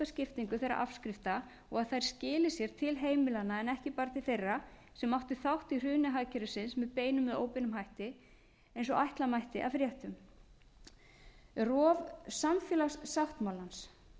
skiptingu þeirra afskrifta og að þær skili sér til heimilanna en ekki bara til þeirra sem áttu þátt í hruni hagkerfisins með beinum eða óbeinum hætti eins og ætla mætti af fréttum rof samfélagssáttmálans